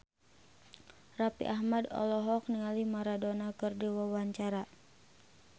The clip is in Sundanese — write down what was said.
Raffi Ahmad olohok ningali Maradona keur diwawancara